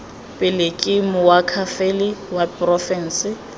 pele ke moakhaefe wa porofense